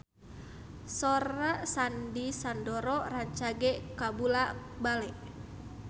Sora Sandy Sandoro rancage kabula-bale